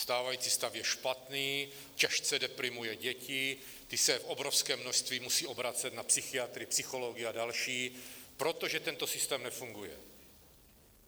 Stávající stav je špatný, těžce deprimuje děti, ty se v obrovském množství musejí obracet na psychiatry, psychology a další, protože tento systém nefunguje.